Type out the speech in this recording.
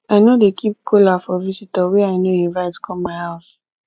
i no dey keep kola for visitor wey i no invite come my house